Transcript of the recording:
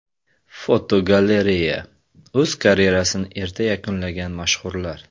Fotogalereya: O‘z karyerasini erta yakunlagan mashhurlar.